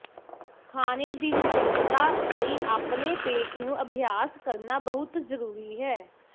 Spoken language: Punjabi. ਖਾਣੇ ਦੀ ਨਿਯਮਤਤਾ ਲਈ ਆਪਣੇ ਪੇਟ ਨੂੰ ਅਭਿਆਸ ਕਰਨਾ ਬਹੁਤ ਜ਼ਰੂਰੀ ਹੈ